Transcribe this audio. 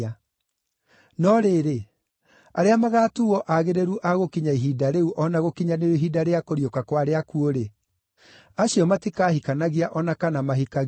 No rĩrĩ, arĩa magaatuuo aagĩrĩru a gũkinya ihinda rĩu o na gũkinyanĩrio ihinda rĩa kũriũka kwa arĩa akuũ-rĩ, acio matikahikanagia o na kana mahikanagie.